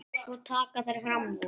Svo taka þær fram úr.